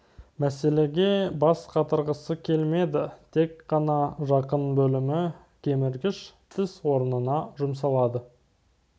мәселеге бас қатырғысы келмеді тек қана жақын бөлімі кеміргіш тіс орнына жұмсалады